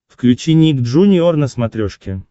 включи ник джуниор на смотрешке